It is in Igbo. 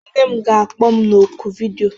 Nne m ga-akpọ m na oku vidiyo